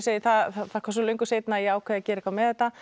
það kom svo löngu seinna að ég ákvað að gera eitthvað með þetta